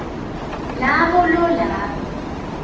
labo lo labe